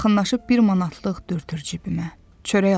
Yaxınlaşıb bir manatlıq dürtür cibimə.